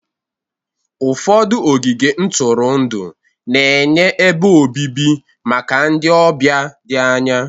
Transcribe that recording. Ụfọdụ ogige ntụrụndụ na-enye ebe obibi maka ndị ọbịa dị anya